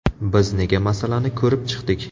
Biz nega masalani ko‘rib chiqdik?